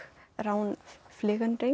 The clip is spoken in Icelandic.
Rán